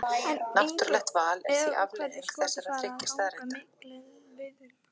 En eru einhver skot farin að ganga milli liðanna?